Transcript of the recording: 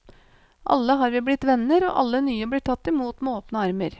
Alle har vi blitt venner, og alle nye blir tatt imot med åpne armer.